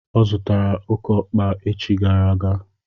Ọ zụtara oké ọkpa echi gara aga.